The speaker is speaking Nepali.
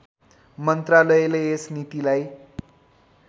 मन्त्रालयले यस नीतिलाई